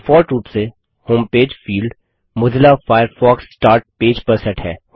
default रूप से home page field Mozilla Firefox start page पर सेट है